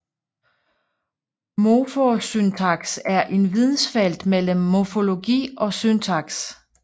Morfosyntaks er vidensfeltet mellem morfologi og syntaks